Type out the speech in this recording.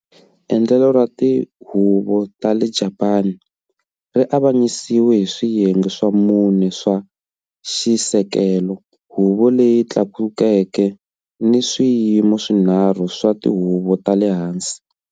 Endlelo ra tihuvo ra le Japani ri avanyisiwe hi swiyenge swa mune swa xisekelo-Huvo leyi Tlakukeke ni swiyimo swinharhu swa tihuvo ta le hansi.